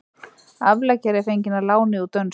Afleggjari er fengið að láni úr dönsku.